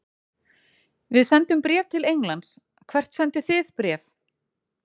Við sendum bréf til Englands. Hvert sendið þið bréf?